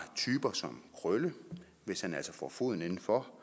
typer som krølle hvis han altså får foden indenfor